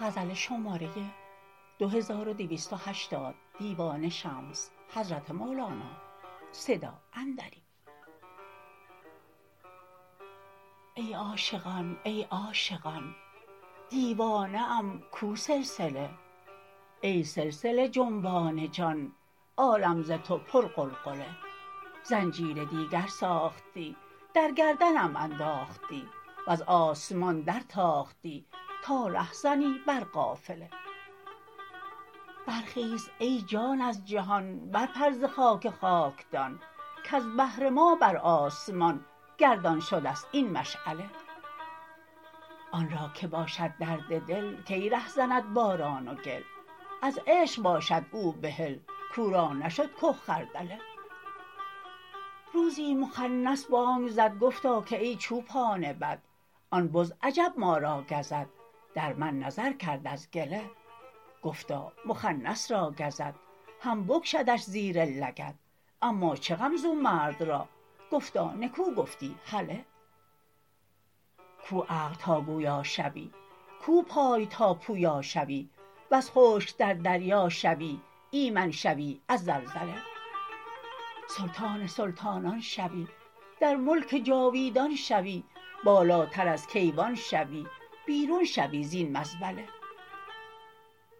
ای عاشقان ای عاشقان دیوانه ام کو سلسله ای سلسله جنبان جان عالم ز تو پرغلغله زنجیر دیگر ساختی در گردنم انداختی وز آسمان درتاختی تا رهزنی بر قافله برخیز ای جان از جهان برپر ز خاک خاکدان کز بهر ما بر آسمان گردان شده ست این مشعله آن را که باشد درد دل کی رهزند باران گل از عشق باشد او بحل کو را نشد که خردله روزی مخنث بانگ زد گفتا که ای چوبان بد آن بز عجب ما را گزد در من نظر کرد از گله گفتا مخنث را گزد هم بکشدش زیر لگد اما چه غم زو مرد را گفتا نکو گفتی هله کو عقل تا گویا شوی کو پای تا پویا شوی وز خشک در دریا شوی ایمن شوی از زلزله سلطان سلطانان شوی در ملک جاویدان شوی بالاتر از کیوان شوی بیرون شوی زین مزبله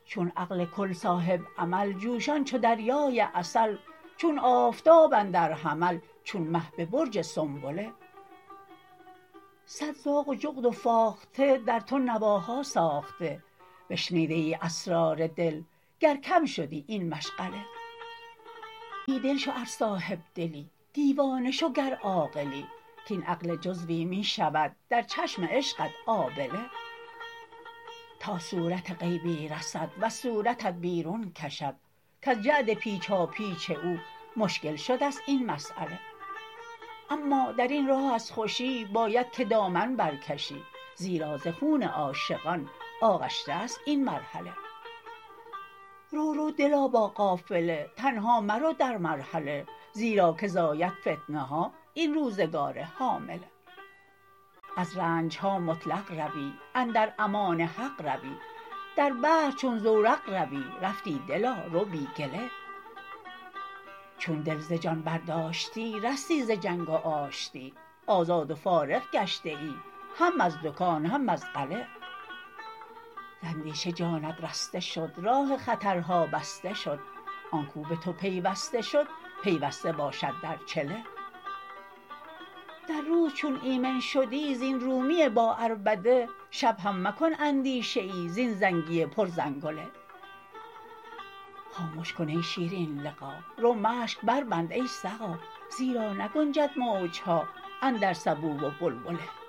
چون عقل کل صاحب عمل جوشان چو دریای عسل چون آفتاب اندر حمل چون مه به برج سنبله صد زاغ و جغد و فاخته در تو نواها ساخته بشنیدیی اسرار دل گر کم شدی این مشغله بی دل شو ار صاحب دلی دیوانه شو گر عاقلی کاین عقل جزوی می شود در چشم عشقت آبله تا صورت غیبی رسد وز صورتت بیرون کشد کز جعد پیچاپیچ او مشکل شده ست این مساله اما در این راه از خوشی باید که دامن برکشی زیرا ز خون عاشقان آغشته ست این مرحله رو رو دلا با قافله تنها مرو در مرحله زیرا که زاید فتنه ها این روزگار حامله از رنج ها مطلق روی اندر امان حق روی در بحر چون زورق روی رفتی دلا رو بی گله چون دل ز جان برداشتی رستی ز جنگ و آشتی آزاد و فارغ گشته ای هم از دکان هم از غله ز اندیشه جانت رسته شد راه خطرها بسته شد آن کو به تو پیوسته شد پیوسته باشد در چله در روز چون ایمن شدی زین رومی باعربده شب هم مکن اندیشه ای زین زنگی پرزنگله خامش کن ای شیرین لقا رو مشک بربند ای سقا زیرا نگنجد موج ها اندر سبو و بلبله